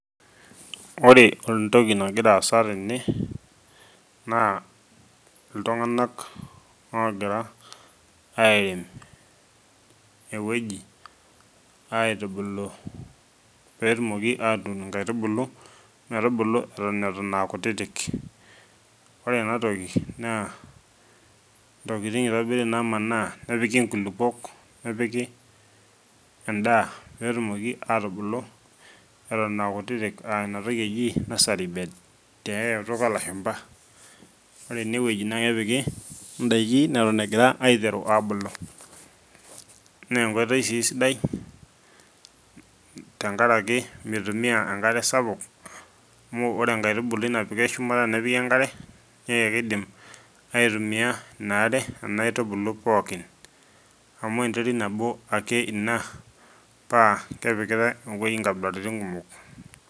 Ore entoki nagira aasa tene naa iltunganak ogira airem ewueji petumoki atuun inkaitubulu metubulu eton aa kutitik , ore enatoki naa ntokitin itobiri namanaa nepiki nkulupuok , nepiki endaa petumoki atubulu eton aa kutitik aa inatoki eji nursery bed tiay kutuk olashumba , ore enewueji naa kepiki indaiki neton egira aiteru abulu naa enkoitoi sii sidai tenkaraki mitumia enkare sapuk amu ore enkaitubului napiki shumata nepiki enkare naa kidim aitumia inaare nena aitubulu pookin amu enterit nabo ake ina paa kepikitae imwai nkabilaritin kumok.